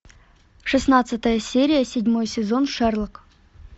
шестнадцатая серия седьмой сезон шерлок